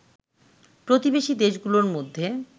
প্রতিবেশী দেশগুলোর মধ্যে